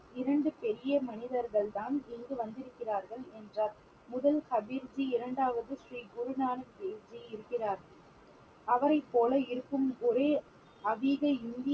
இரண்டு பெரிய மனிதர்கள் தான் இங்கு வந்திருக்கிறார்கள் என்றார் முதல் கபீர் ஜி இரண்டாவது ஸ்ரீ குரு நானக் தேவ் ஜி இருக்கிறார் அவரைப்போல இருக்கும் ஒரே